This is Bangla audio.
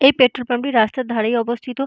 এই পেট্রোল পাম্প টি রাস্তার ধারেই অবস্থিত।